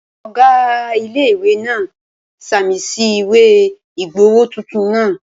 Ọ̀gá ilé-ìwé náà ṣàmì sí ìwé ìgbowó tuntun náà